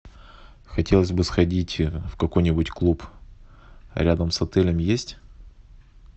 хотелось бы сходить в какой нибудь клуб рядом с отелем есть